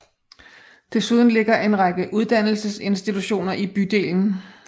Desuden ligger en række uddannelsesinstitutioner i bydelen